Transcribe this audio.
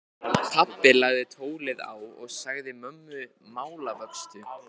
Pabbi lagði tólið á og sagði mömmu málavöxtu.